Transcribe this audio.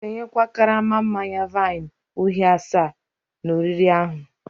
M'gēnye kwa karama manya-vine uhie asa n'oriri ahu